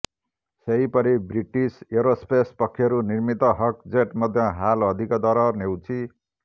ସେହିପରି British aerospace ପକ୍ଷରୁ ନିର୍ମିତ ହକ୍ ଜେଟ୍ ମଧ୍ୟ ହାଲ୍ ଅଧିକ ଦର ନେଉଛି